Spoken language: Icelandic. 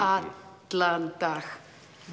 allan dag